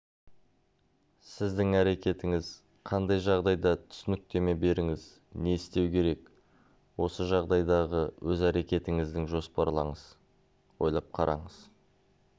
сіздің әрекетіңіз қандай жағдайға түсініктеме беріңіз не істеу керек осы жағдайдағы өз әрекетіңізді жоспарлаңыз ойлап қараңыз